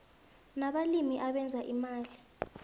nabalimi abenza imali